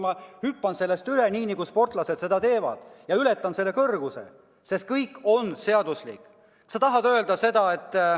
Ma hüppan sellest üle, nii nagu sportlased seda teevad, ma ületan selle kõrguse, sest kõik on seaduslik.